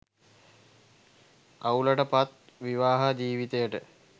අවුලට පත් විවාහ ජීවිතයට